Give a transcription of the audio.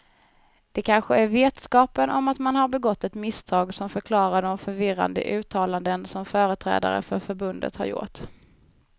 Det kanske är vetskapen om att man har begått ett misstag som förklarar de förvirrade uttalanden som företrädare för förbundet har gjort.